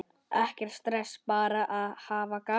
Ekkert stress, bara hafa gaman!